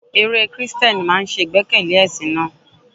Eré Kristẹni máa ń ṣe ìgbẹ́kẹ̀lé ẹ̀sìn náà.